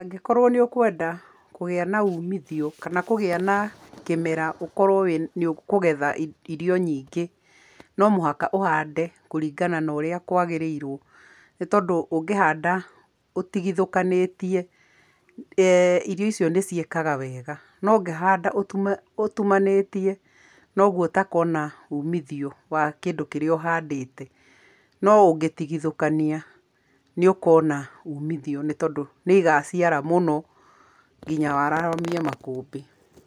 Angĩkorwo nĩ ũkwenda kũgĩa na umithio, kana kũgĩa na kĩmera ũkorwo nĩ ũkũgetha irio nyingĩ, no mũhaka ũhande kũringana na ũrĩa kwagĩrĩirwo, nĩ tondũ ũngĩhanda ũtigithũkanĩtie, irio icio nĩ ciĩkaga wega, no ũngĩhanda ũtumanĩtie noguo ũtakona umithio wa kĩndũ kĩrĩa ũhandĩte, no ũngĩtigithũkania nĩ ũkona umithio, nĩ tondũ nĩ igaciara mũno nginya wararamie makũmbĩ.